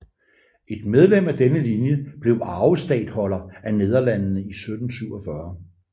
Et medlem af denne linje blev arvestatholder af Nederlandene i 1747